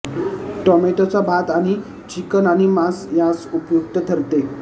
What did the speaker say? टोमॅटोचा भात आणि चिकन आणि मांस यांस उपयुक्त ठरते